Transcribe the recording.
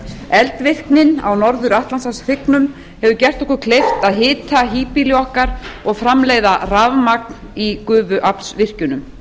eldvirknin á norður atlantshafshryggnum hefur gert okkur kleift að hita híbýli okkar og framleiða rafmagn í gufuaflsvirkjunum